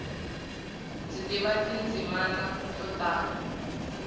mdzi tiva tindzimi to tala